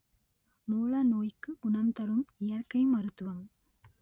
மூல நோய்க்கு குணம் தரும் இயற்கை மருத்துவம்